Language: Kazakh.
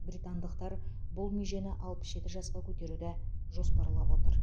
британдықтар бұл межені алпыс жеті жасқа көтеруді жоспарлап отыр